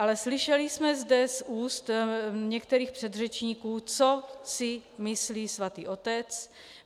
Ale slyšeli jsme zde z úst některých předřečníků, co si myslí Svatý otec.